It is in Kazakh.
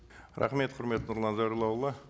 рахмет құрметті нұрлан зайроллаұлы